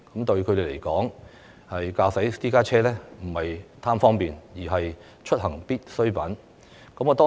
對他們來說，駕駛私家車並非貪圖方便，而是出行所必需。